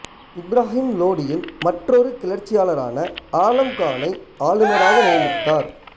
இப்ராஹிம் லோடியின் மற்றொரு கிளர்ச்சியாளரான ஆலம் கானை ஆளுநராக நியமித்தார்